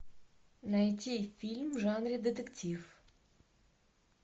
найти фильм в жанре детектив